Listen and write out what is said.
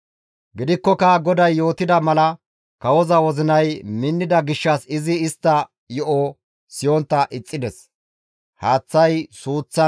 Gidikkoka GODAY yootida mala kawoza wozinay minnida gishshas izi istta yo7o siyontta ixxides.